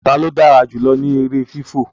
talo dára jùlọ ní èrè fifọ?